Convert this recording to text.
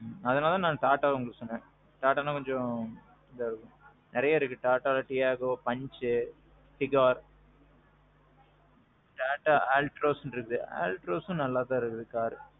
அதனால தான் TATA உங்களுக்கு சொன்னேன். TATA னா கொஞ்சம் இதுவா இருக்கும். நெறையா இருக்கு Tataல Tiago, Punch, Tigor, TATA Altroz இருக்கு, Altrozம் நல்லா தான் இருக்குது காரு.